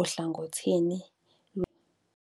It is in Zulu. ohlangothini lwaseThembezinhle